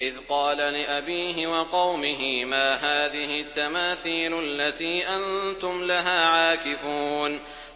إِذْ قَالَ لِأَبِيهِ وَقَوْمِهِ مَا هَٰذِهِ التَّمَاثِيلُ الَّتِي أَنتُمْ لَهَا عَاكِفُونَ